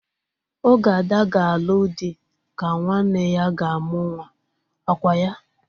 Oge Ada ga-alụ di ka nwanne ya ga-amụ nwa. Ọ kwa ya?